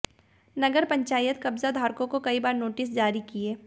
नगर पंचायत ने कब्जाधारकों को कई बार नोटिस जारी किए